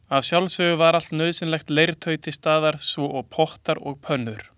Að sjálfsögðu var allt nauðsynlegt leirtau til staðar svo og pottar og pönnur.